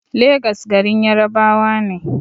Legas garin Yarabawa ne.